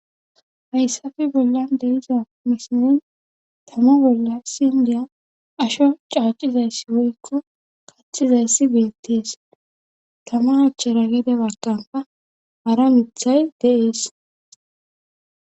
hayssafe bollan de'iza misilezan tama bolla isiindiya asho caacizayssi woykko katxizayssi beettees tama achchera gede bakkanka hara mithay de'ees